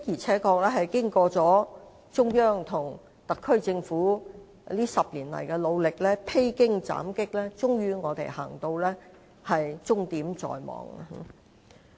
不過，經中央與特區政府這10年來的努力，披荊斬棘，高鐵終於終點在望。